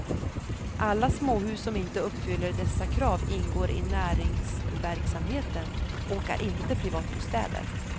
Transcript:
Alla småhus som inte uppfyller dessa krav ingår i näringsverksamhet och är inte privatbostäder.